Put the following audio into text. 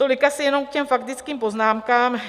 Tolik asi jenom k těm faktickým poznámkám.